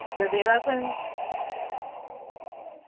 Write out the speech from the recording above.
ગધેડા તું